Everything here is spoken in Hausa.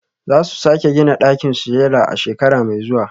Za su sake gina ɗakin sujada a shekara mai zuwa